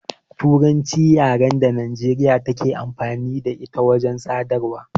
Turanci ce yaran da Nijeriya take amfani da ita wajen sadarwa